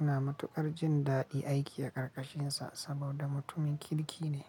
Ina matuƙar jin daɗin aiki a ƙarƙashinsa saboda mutumin kirki ne.